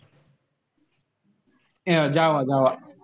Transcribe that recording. अं JAVA-JAVA.